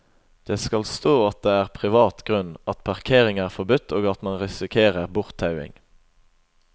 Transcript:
Det skal stå at det er privat grunn, at parkering er forbudt og at man risikerer borttauing.